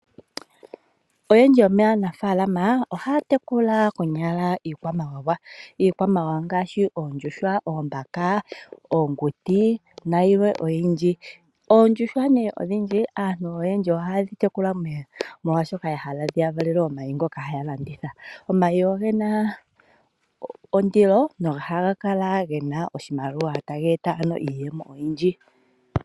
Oyendji yomaanaafalama ohaya tekula konyala iikwamawawa. Iikwamawawa ngaashi oondjuhwa, oombaka, oonguti nayilwe oyindji. Oondjuhwa nee odhindji aantu oyendji ohaye dhi tekula molwashoka ya hala dhi ya valele omayi ngoka haya landitha. Omayi oge na ondilo nohaga kala ge na oshimaliwa, taga eta ano iiyemo oyindji.